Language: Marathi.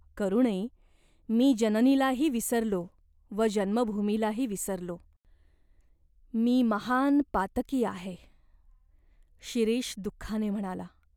"करुणे, मी जननीलाही विसरलो व जन्मभूमीलाही विसरलो. मी महान् पातकी आहे !" शिरीष दुःखाने म्हणाला.